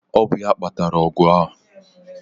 Ọ bụ ya kpatara ọgụ a